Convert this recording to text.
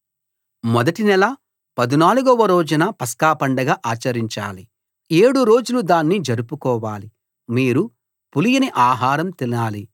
మొదటి నెల 14 వ రోజున పస్కాపండగ ఆచరించాలి ఏడు రోజులు దాన్ని జరుపుకోవాలి మీరు పులియని ఆహారం తినాలి